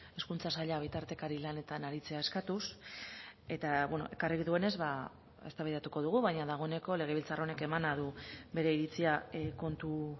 hezkuntza saila bitartekari lanetan aritzea eskatuz eta ekarri duenez eztabaidatuko dugu baina dagoeneko legebiltzar honek emana du bere iritsia kontu